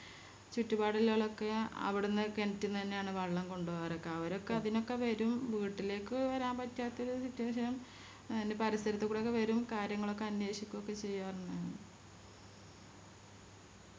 ചുറ്റുപാടുള്ളോലൊക്കെ അവിടുന്ന് കെണറ്റ്ന്നന്നെയാണ് വെള്ളം കൊണ്ടോവാറ് ക്കെ അവരൊക്കെ അതിനൊക്കെ വേരും വീട്ടിലേക്ക് വെരാൻ പറ്റാത്തൊരു Situation നും അയിന് പരിസരത്തുകൂടിയൊക്കെ വരും കാര്യങ്ങളൊക്കെ അന്വേഷിക്കൊക്കെ ചെയ്യാറുണ്ടാരുന്നു